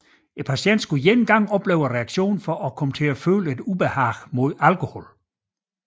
Patienten skulle én gang opleve reaktionen for at komme til at føle et ubehag mod alkohol